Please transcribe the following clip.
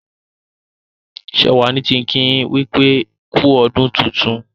Shewa ní kín kí yin wípé ku ọdún tintun.